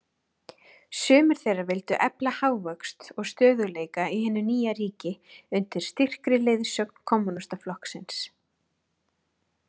Sumir þeirra vildu efla hagvöxt og stöðugleika í hinu nýja ríki, undir styrkri leiðsögn Kommúnistaflokksins.